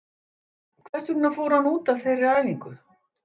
Hvers vegna fór hann út af þeirri æfingu?